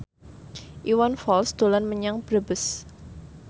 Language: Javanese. Iwan Fals dolan menyang Brebes